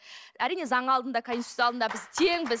әрине заң алдында конституция алдында біз теңбіз